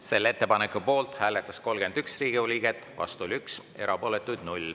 Selle ettepaneku poolt hääletas 31 Riigikogu liiget, vastu oli 1, erapooletuid 0.